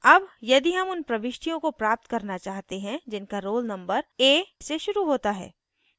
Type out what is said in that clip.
अब यदि हम उन प्रविष्टियों को प्राप्त करना चाहते हैं जिनका roll numbers a से शुरू होता है